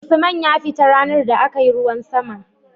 Usman ya fita ranar da akayi ruwan sama